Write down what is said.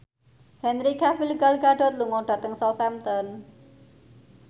Henry Cavill Gal Gadot lunga dhateng Southampton